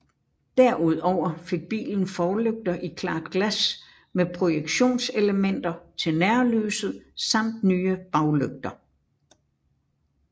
Derudover fik bilen forlygter i klart glas med projektionselementer til nærlyset samt nye baglygter